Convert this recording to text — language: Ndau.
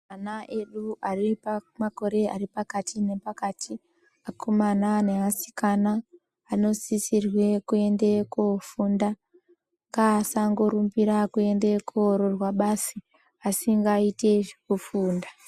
Vana vedu vane makore aripakati nepakati vakomana nevasikana vanosisa. Kuramba vachienda kofunda ngevadarumnira kuenda kundoroorwa Badi asingaiti zvekufunda